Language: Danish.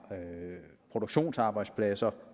produktionsarbejdspladser